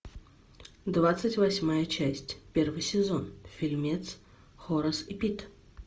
двадцать восьмая часть первый сезон фильмец хорас и пит